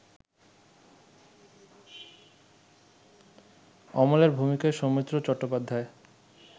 অমলের ভূমিকায় সৌমিত্র চট্টোপাধ্যায়